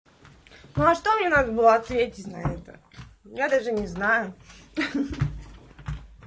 ну а что мне надо было ответить на это я даже не знаю